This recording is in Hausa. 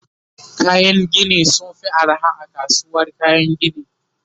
kayan Gini sunfi arha a kasuwar kayan Gini